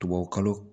Tubabukalo